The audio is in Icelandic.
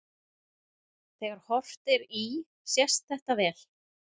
Þegar horft er í sést þetta vel.